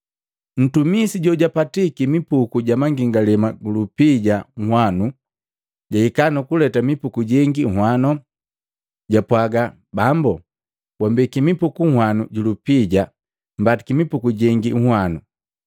Ntumisi jojajopiki mipuku jamangalema ju lupija nhwanu jahika nukuleta mipuku jengi unhwano. Japwaaga, ‘Bambu wambeki mipuku nhwanu ju lupija mbatiki mipuku jengi nhwanu.’